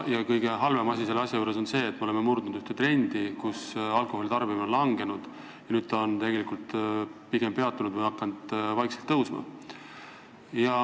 Kõige halvem selle asja juures on see, et me oleme murdnud ühe trendi, alkoholitarbimine varem langes, aga nüüd on see peatunud või hakanud vaikselt tõusma.